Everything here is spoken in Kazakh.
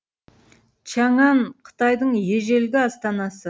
чаңан қытайдың ежелгі астанасы